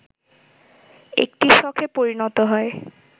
একটি শখে পরিণত হয়